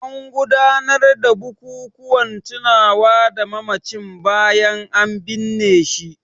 An gudanar da bukukuwan tunawa da mamacin bayan an binne shi.